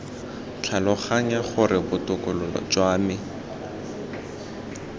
tlhaloganya gore botokololo jwa me